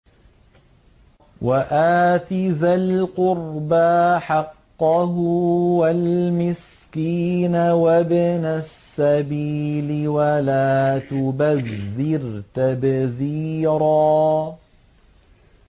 وَآتِ ذَا الْقُرْبَىٰ حَقَّهُ وَالْمِسْكِينَ وَابْنَ السَّبِيلِ وَلَا تُبَذِّرْ تَبْذِيرًا